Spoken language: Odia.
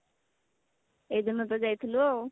ଏଇ ଦିନ ତ ଯାଇଥିଲୁ ଆଉ